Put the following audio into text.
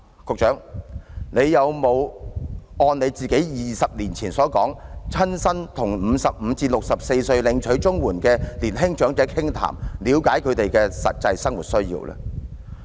局長有否按自己20年前所說，親身與55歲至64歲領取綜援的年輕長者傾談，了解他們的實際生活需要？